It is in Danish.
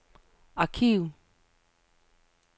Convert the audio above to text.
arkiv